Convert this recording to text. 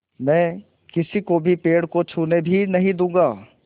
मैं किसी को भी पेड़ को छूने भी नहीं दूँगा